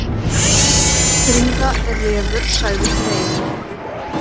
Fríða er refur, sagði Freyr.